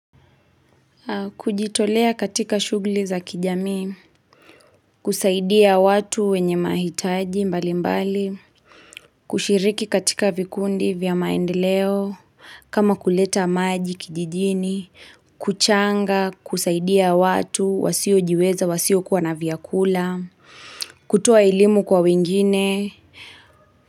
Kujitolea katika shugli za kijami, kusaidia watu wenye mahitaji mbali mbali, kushiriki katika vikundi vya maendeleo, kama kuleta maji kijijini, kuchanga, kusaidia watu, wasio jiweza, wasio kuwa na viakula, kutoa rlimu kwa wengine.